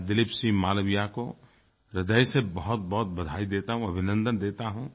मैं दिलीप सिंह मालविया को ह्रदय से बहुतबहुत बधाई देता हूँ अभिनन्दन देता हूँ